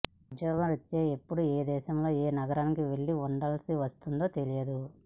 ఉద్యోగరీత్యా ఎప్పుడు దేశంలో ఏ నగరానికి వెళ్లి ఉండాల్సి వస్తుందో తెలియదు